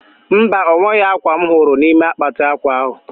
Mba, onweghi akwa m huru nime akpati akwa ahu